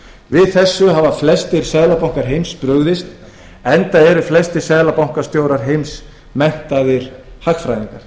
við þessu hafa flestir seðlabankar heims brugðist enda eru flestir seðlabankastjórar heimsins menntaðir hagfræðingar